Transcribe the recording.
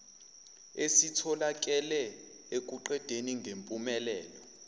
esitholakale ekuqedeni ngempumelelo